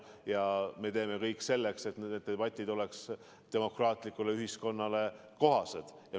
Ja me teeme kõik selleks, et need debatid oleks demokraatlikule ühiskonnale kohased.